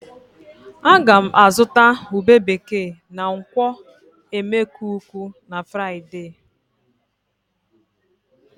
Ága m azụta ube bekee na nkwọ̀ e. Emekuku na Fraịde